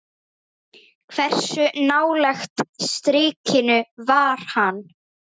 Hversu nálægt strikinu var hann?